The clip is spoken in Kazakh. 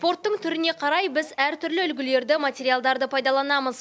спорттың түріне қарай біз әртүрлі үлгілерді материалдарды пайдаланамыз